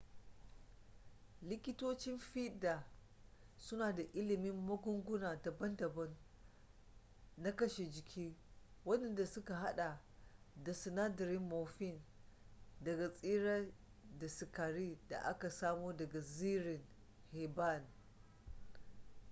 likitocin fiɗa suna da ilimin magunguna daban-daban na kashe jiki wadanda suka hada da sinadarin morphine daga tsirrai da sikari da aka samo daga zirin herbane